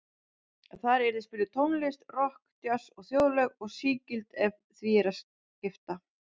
Þar yrði spiluð tónlist, rokk, djass og þjóðlög, og sígild ef því var að skipta.